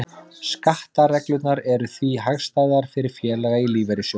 Skattareglurnar eru því hagstæðar fyrir félaga í lífeyrissjóðum.